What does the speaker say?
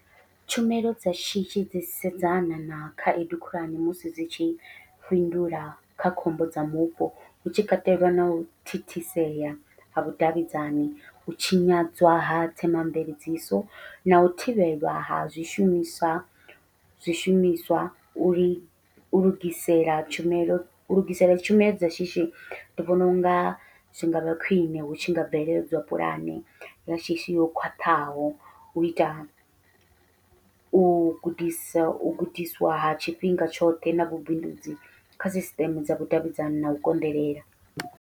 Tshumelo dza shishi dzi sedzana na khaedu khulwane musi dzi tshi fhindula kha khombo dza mupo, hutshi katelwa nau thithisea ha vhudavhidzani u tshinyadzwa ha themamveledziso nau thivhelwa ha zwishumiswa zwishumiswa uri u lugisela tshumelo, u lugisela tshumelo dza shishi ndi vhona unga zwi ngavha khwiṋe hu tshi nga bveledzwa puḽane ya shishi ho khwaṱhaho, uita u gudisa u gudiswa ha tshifhinga tshoṱhe na vhubindudzi kha sisiṱeme dza vhudavhidzani na u konḓelela.